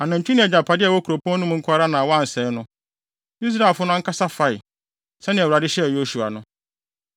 Anantwi ne agyapade a ɛwɔ kuropɔn no mu nko ara na wɔansɛe no; Israelfo no ankasa fae, sɛnea Awurade hyɛɛ Yosua no.